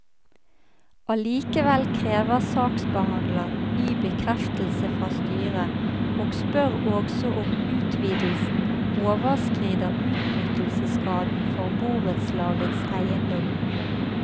Allikevel krever saksbehandler ny bekreftelse fra styret og spør også om utvidelsen overskrider utnyttelsesgraden for borettslagets eiendom.